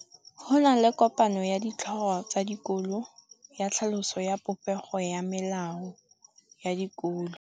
Go na le kopanô ya ditlhogo tsa dikolo ya tlhaloso ya popêgô ya melao ya dikolo.